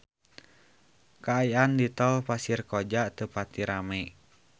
Kaayaan di Tol Pasir Koja teu pati rame